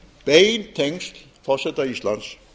bein tengsl forseta íslands